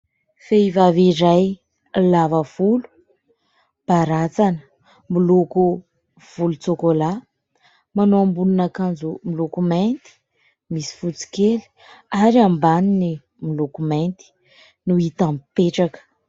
Vehivavy iray lava volo, baratsana miloko volon-tsôkôla, manao ambonin'akanjo miloko mainty misy fotsy kely ary ambaniny miloko mainty no hita mipetraka.